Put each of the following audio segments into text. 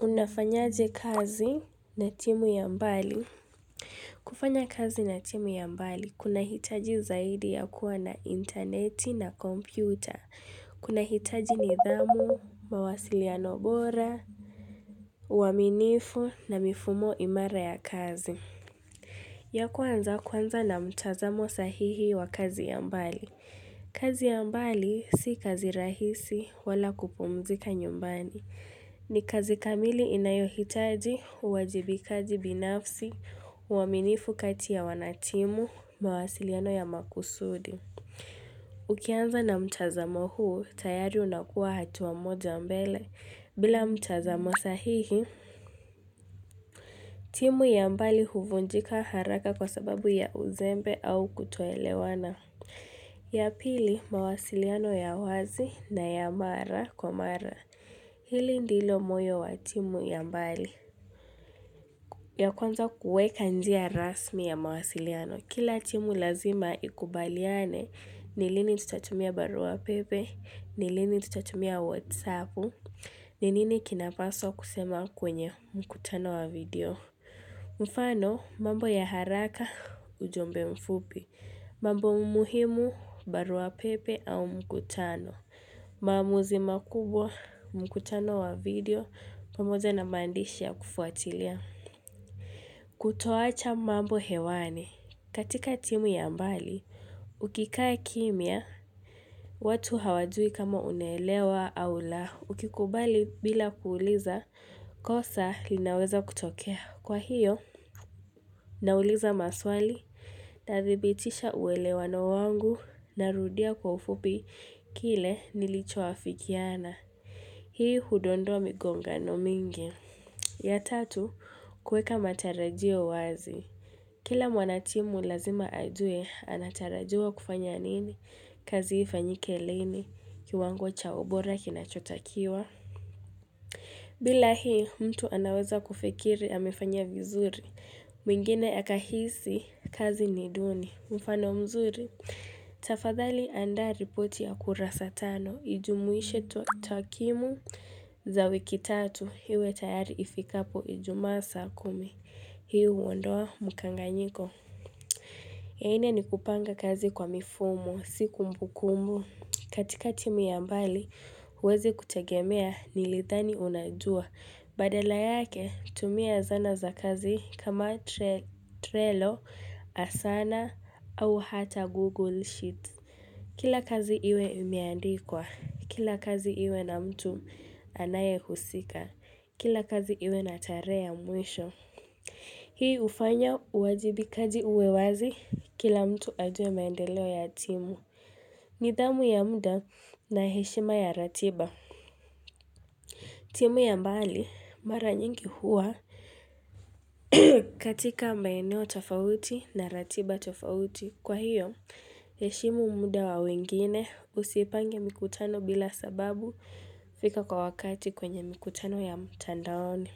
Unafanyaje kazi na timu ya mbali. Kufanya kazi na timu ya mbali kunahitaji zaidi ya kuwa na intaneti na kompyuta. Kuna hitaji nidhamu, mawasiliano bora, uaminifu na mifumo imara ya kazi. Ya kwanza kwanza na mtazamo sahihi wa kazi ya mbali. Kazi ya mbali si kazi rahisi wala kupumzika nyumbani. Ni kazi kamili inayohitaji, uwajibikaji binafsi, uaminifu kati ya wanatimu, mawasiliano ya makusudi. Ukianza na mtazamo huu, tayari unakuwa hatuwa moja mbele. Bila mtazamo sahihi, timu ya mbali huvunjika haraka kwa sababu ya uzembe au kutoelewana. Ya pili, mawasiliano ya wazi na ya mara kwa mara. Hili ndilo moyo wa timu ya mbali. Ya kwanza kueka njia rasmi ya mawasiliano. Kila timu lazima ikubaliane, nilini tutatumia barua pepe, nilini tutatumia whatsapp, ni nini kinapaswa kusema kwenye mkutano wa video Mfano mambo ya haraka ujumbe mfupi mambo umuhimu barua pepe au mkutano mamuzi makubwa mkutano wa video pamoja na maandishi kufuatilia Kutoacha mambo hewane katika timu yambali Ukikai kimya, watu hawadui kama unelewa au la Ukikubali bila kuuliza, kosa linaweza kutokea. Kwa hiyo, nauliza maswali, tathibitisha uwele wano wangu, narudia kwa ufupi kile nilicho afikiana. Hii hudondwa migongano mingi. Ya tatu, kueka matarajio wazi. Kila mwanatimu lazima ajue, anatarajiwa kufanya nini? Kazi ifanyike lini, kiwango chao bora kinachotakiwa. Bila hii mtu anaweza kufikiri amefanya vizuri, mwingine akahisi kazi ni duni, mfano mzuri, tafadhali andari poti ya kura saa tano, ijumuishe to takimu za wiki tatu, hiwe tayari ifikapo ijumasa kumi, hiu uondoa mukanganyiko. Ya ine ni kupanga kazi kwa mifumu, siku mbukumu. Katika timi ambali, uwezi kutagemea nilithani unajua. Badala yake, tumia zana za kazi kama trelo, asana, au hata Google Sheet. Kila kazi iwe umiandikwa. Kila kazi iwe na mtu anaye husika. Kila kazi iwe na tarehe ya mwisho. Hii ufanya uwajibikaji uwewazi kila mtu ajwe maendeleo ya timu. Nidhamu ya muda na heshima ya ratiba. Timu ya mbali mara nyingi huwa katika maeneo tofauti na ratiba tofauti. Kwa hiyo heshima muda wa wengine usipange mikutano bila sababu fika kwa wakati kwenye mikutano ya mtandaoni.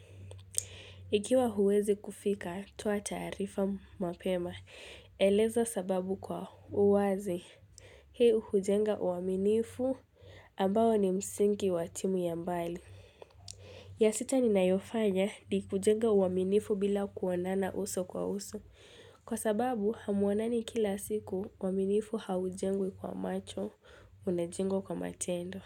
Ikiwa huwezi kufika, toa taarifa mapema. Eleza sababu kwa uwazi. Hii hujenga uaminifu ambao ni msingi wa timu ya mbali. Ya sita ninayofanya ni hujenga uaminifu bila kuonana uso kwa uso. Kwa sababu, hamuonani kila siku, uaminifu haujengi kwa macho, unejengo kwa matendo.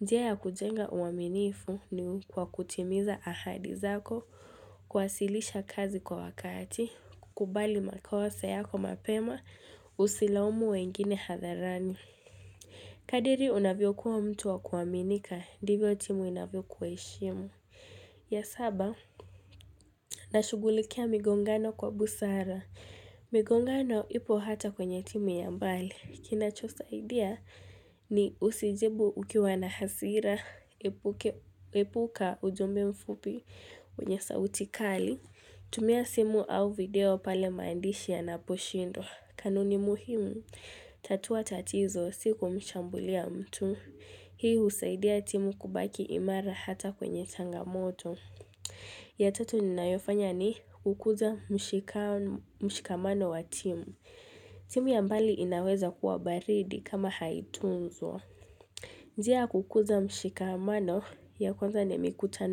Njia ya kujenga uwaminifu ni kwa kutimiza ahadi zako, kwasilisha kazi kwa wakati, kukubali makosa yako mapema, usilaumu wengine hadharani. Kadiri unavyo kuwa mtu wa kuwaminika, ndivyo timu unavyo kweishimu. Ya saba, na shugulikia migongano kwa busara. Migongano ipo hata kwenye timu ya mbali. Kina cho saidiya ni usijibu ukiwa na hasira epuka ujombe mfupi wenye sauti kali. Tumia simu au video pale maandishi ya naposhindo. Kanuni muhimu, tatua tatizo, siku mshambulia mtu. Hii usaidia timu kubaki imara hata kwenye tangamoto. Ya tatu ninaifanya ni kukuza mshikamano wa timu. Timu ya mbali inaweza kuwa baridi kama haitunzo. Njia ya kukuza mshikamano ya kwanza ni mikutano.